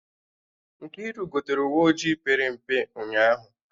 Nkiru gotere uwe ojii pere mpe ụnyaahụ